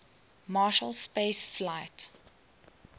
marshall space flight